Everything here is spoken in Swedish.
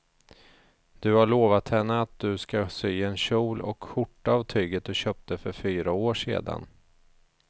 Du har lovat henne att du ska sy en kjol och skjorta av tyget du köpte för fyra år sedan.